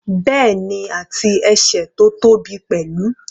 Bẹ́ẹ̀ni, àti ẹsẹ̀ tó tóbi pẹ̀lú.